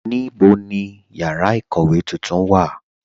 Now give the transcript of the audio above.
Níbo ni yára ikówe tuntun wà?